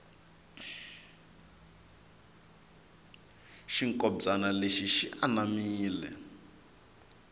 xinkombyani lexi xi anamile